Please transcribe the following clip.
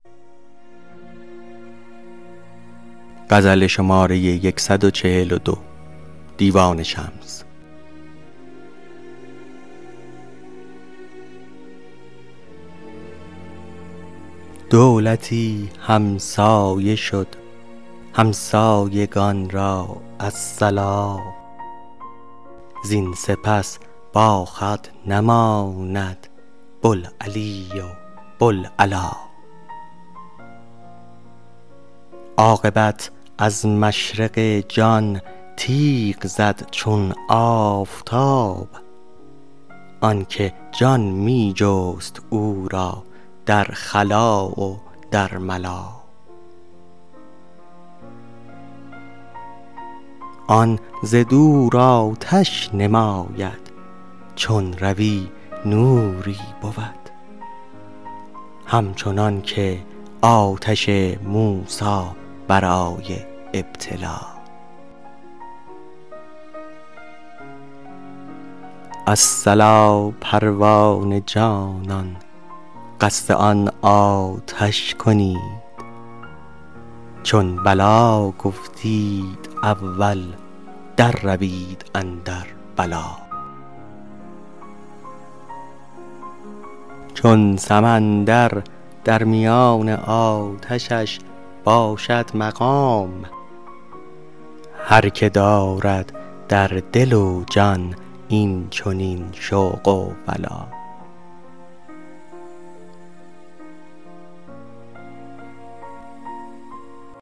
دولتی همسایه شد همسایگان را الصلا زین سپس باخود نماند بوالعلی و بوالعلا عاقبت از مشرق جان تیغ زد چون آفتاب آن که جان می جست او را در خلا و در ملا آن ز دور آتش نماید چون روی نوری بود همچنان که آتش موسی برای ابتلا الصلا پروانه جانان قصد آن آتش کنید چون بلی گفتید اول درروید اندر بلا چون سمندر در میان آتشش باشد مقام هر که دارد در دل و جان این چنین شوق و ولا